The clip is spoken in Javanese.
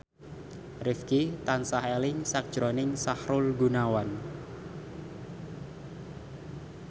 Rifqi tansah eling sakjroning Sahrul Gunawan